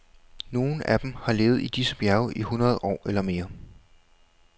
Nogle af dem har levet i disse bjerge i hundrede år eller mere.